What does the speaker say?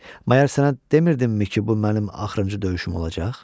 Məgər sənə demirdimmi ki, bu mənim axırıncı döyüşüm olacaq?